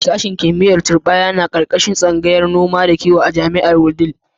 Sashen kimiyyar turɓaya yana ƙarƙashin tsangayar noma da kiwo a jami'ar a Wudil.